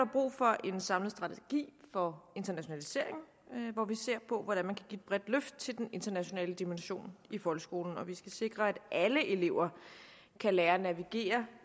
brug for en samlet strategi for internationaliseringen hvor vi ser på hvordan man kan et bredt løft til den internationale dimension i folkeskolen vi skal sikre at alle elever kan lære at navigere